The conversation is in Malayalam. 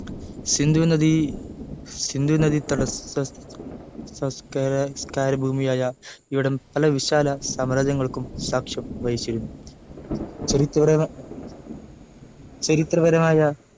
സിന്ധു നദി ഭൂമിയായ ഇവിടം പല വിശാല സാമ്രാജ്യങ്ങളും സാക്ഷ്യം വഹിച്ചിരുന്നു ചരിത് ചരിത്രപരമായ